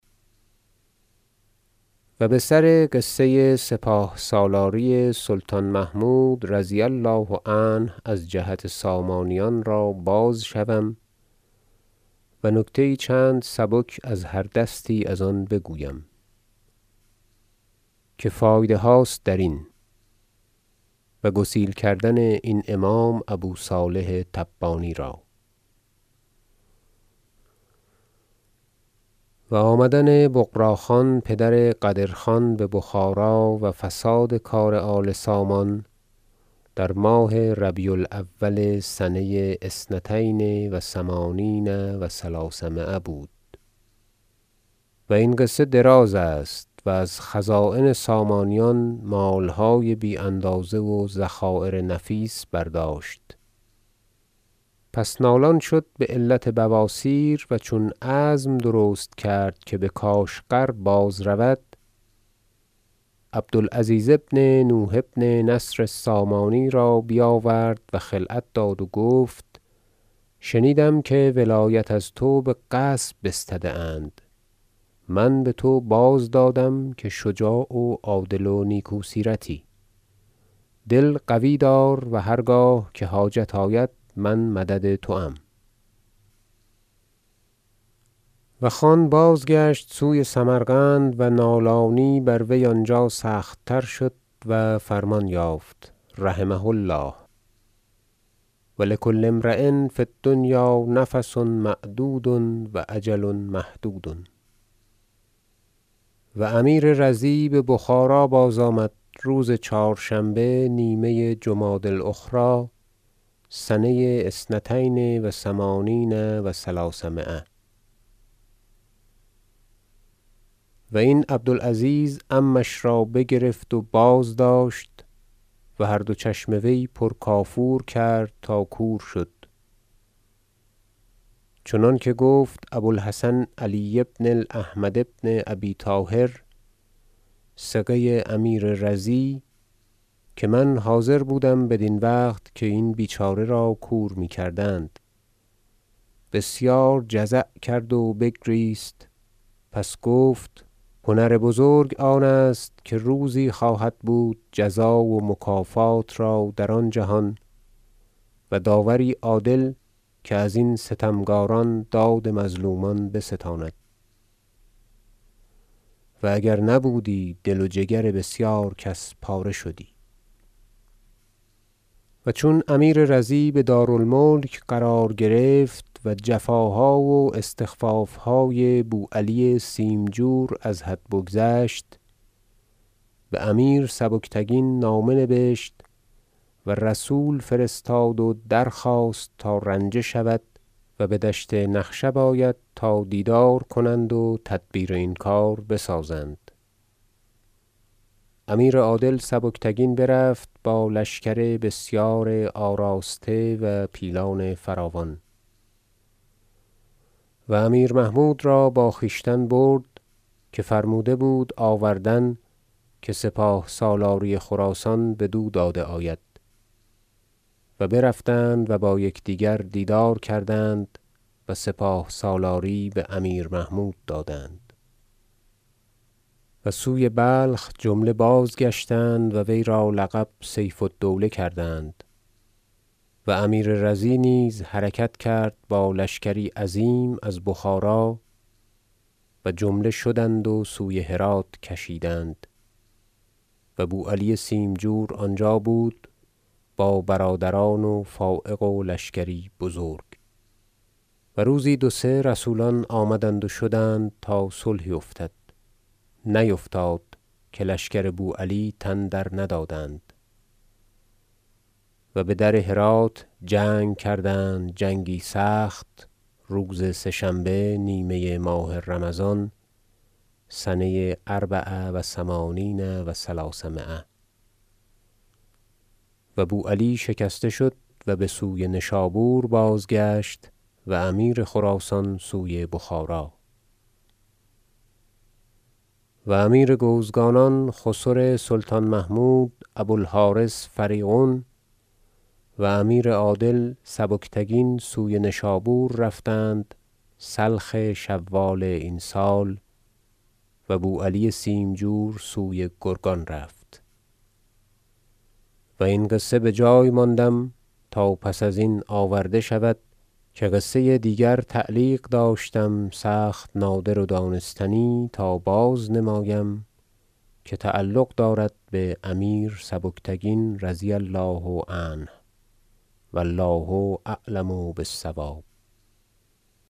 و بسر قصه سپاه سالاری سلطان محمود رضی الله عنه از جهت سامانیان را باز شوم و نکته یی چند سبک از هر دستی از آن بگویم که فایده هاست درین و گسیل کردن این امام ابو صالح تبانی را و آمدن بغراخان پدر قدر خان ببخارا و فساد کار آل سامان در ماه ربیع الاول سنه اثنتین و ثمانین و ثلثمایه بود و این قصه دراز است و از خزاین سامانیان مالهای بی اندازه و ذخایر نفیس برداشت پس نالان شد بعلت بو اسیر و چون عزم درست کرد که بکاشغر باز رود عبد العزیز بن نوح بن نصر السامانی را بیاورد و خلعت داد و گفت شنیدم که ولایت از تو بغصب بستده اند من بتو بازدادم که شجاع و عادل و نیکو سیرتی دل قوی دار و هرگاه که حاجت آید من مدد توام و خان بازگشت سوی سمرقند و نالانی بر وی آنجا سخت تر شد و فرمان یافت رحمه الله و لکل امری فی الدنیا نفس معدود و اجل محدود و امیر رضی ببخارا بازآمد روز چهار- شنبه نیمه جمادی الاخری سنه اثنتین و ثمانین و ثلثمایه و این عبد العزیز عمش را بگرفت و بازداشت و هر دو چشم وی پر کافور کرد تا کور شد چنانکه گفت ابو الحسن علی بن احمد بن ابی طاهر ثقه امیر رضی که من حاضر بودم بدین وقت که این بیچاره را کور میکردند بسیار جزع کرد و بگریست پس گفت هنر بزرگ آن است که روزی خواهد بود جزا و مکافات را در آن جهان و داوری عادل که ازین ستمکاران داد مظلومان بستاند و اگر نبودی دل و جگر بسیار کس پاره شدی و چون امیر رضی بدار الملک قرار گرفت و جفاها و استخفافهای بو علی سیمجور از حد بگذشت بامیر سبکتگین نامه نبشت و رسول فرستاد و درخواست تا رنجه شود و بدشت نخشب آید تا دیدار کنند و تدبیر این کار بسازند امیر عادل سبکتگین برفت با لشکر بسیار آراسته و پیلان فراوان- و امیر محمود را با خویشتن برد که فرموده بود آوردن که سپاه سالاری خراسان بدو داده آید و برفتند و با یکدیگر دیدار کردند و سپاه سالاری بامیر محمود دادند و سوی بلخ جمله بازگشتند و وی را لقب سیف الدوله کردند و امیر رضی نیز حرکت کرد با لشکری عظیم از بخارا و جمله شدند و سوی هرات کشیدند و بو علی سیمجور آنجا بود با برادران و فایق و لشکری بزرگ و روزی دو سه رسولان آمدند و شدند تا صلحی افتد نیفتاد که لشکر بو علی تن درندادند و بدر هرات جنگ کردند جنگی سخت روز سه شنبه نیمه ماه رمضان سنه اربع و ثمانین و ثلثمایه و بو علی شکسته شد و بسوی نشابور بازگشت و امیر خراسان سوی بخارا و امیر گوزگانان خسر سلطان محمود ابو الحارث فریغون و امیر عادل سبکتگین سوی نشابور رفتند سلخ شوال این سال و بو علی سیمجور سوی گرگان رفت و این قصه بجای ماندم تا پس ازین آورده شود که قصه دیگر تعلیق داشتم سخت نادر و دانستنی تا بازنمایم که تعلق دارد بامیر سبکتگین رضی الله عنه و الله اعلم بالصواب